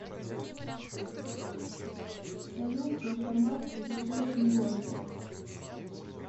салют банкомат в ближайшем городе